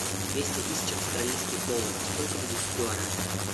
двести тысяч австралийских долларов сколько будет в гуарани